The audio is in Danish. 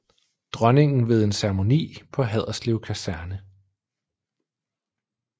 Dronningen ved en ceremoni på Haderslev Kaserne